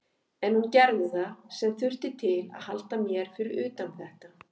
En hún gerði það sem þurfti til að halda mér fyrir utan þetta.